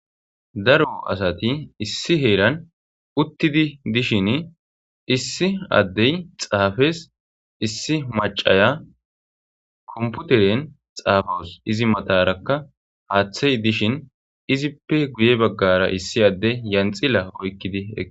Iraro asati issi heeran uttidi dishin issi addey xaafes issi macaya komputeren xaafos izi matarakka haaththey dishin izippe guye baggara issi adde yanxila oykkidi e